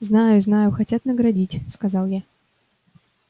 знаю знаю хотят наградить сказал я